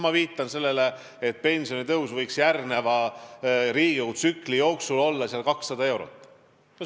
Ma viitan sellele, et pension võiks järgneva Riigikogu tsükli jooksul tõusta umbes 200 eurot.